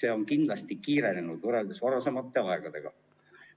see on kindlasti kiirenenud võrreldes varasema ajaga.